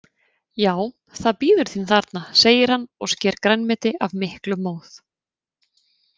Já, það bíður þín þarna, segir hann og sker grænmeti af miklum móð.